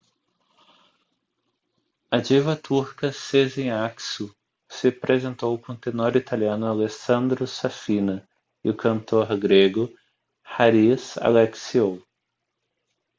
a diva turca sezen aksu se apresentou com o tenor italiano alessandro safina e o cantor grego haris alexiou